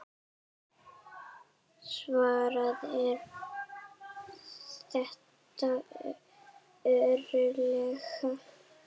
Svarið er: þetta eru lög!